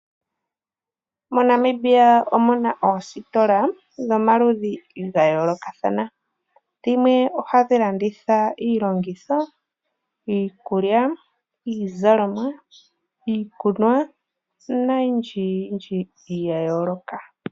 MoNamibia omuna oositola dhomaludhi dhayoolokathana dhimwe ohadhi landitha iilongitho, iikulya, iizalomwa, iikunwa noyindji yindji yayooloka.